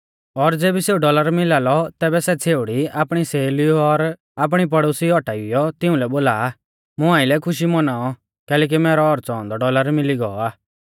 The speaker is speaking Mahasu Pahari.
और ज़ेबी सेऊ डौलर मिला लौ तैबै सै छ़ेउड़ी आपणी सहेलीऊ और आपणी पड़ोसीऊ औटाइयौ तिऊं लै बोला आ मुं आइलै खुशी मौनाऔ कैलैकि मैरौ औच़ौ औन्दौ डौलर मिली गौ आ